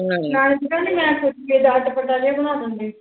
ਨਾਲੇ ਤੂੰ ਕਹਿੰਦੀ ਮੈਂ ਚਟਪਟਾ ਜਿਹਾ ਬਣਾ ਦਿੰਦੀ।